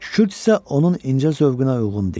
Küçüd isə onun incə zövqünə uyğun deyil.